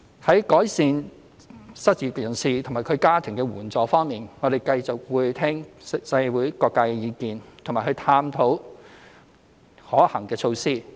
在改善失業人士及其家庭的援助方面，我們會繼續聆聽社會各界的意見及探討可行的措施。